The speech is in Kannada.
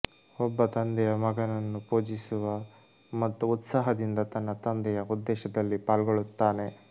ಒಬ್ಬ ತಂದೆಯ ಮಗನನ್ನು ಪೂಜಿಸುವ ಮತ್ತು ಉತ್ಸಾಹದಿಂದ ತನ್ನ ತಂದೆಯ ಉದ್ದೇಶದಲ್ಲಿ ಪಾಲ್ಗೊಳ್ಳುತ್ತಾನೆ